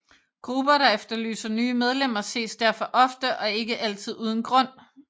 Grupper der efterlyser nye medlemmer ses derfor ofte og ikke altid uden grund